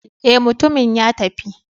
Eh, mutumin ya tafi.